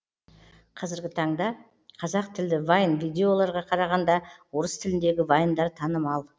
қазіргі таңда қазақ тілді вайн видеоларға қарағанда орыс тіліндегі вайндар танымал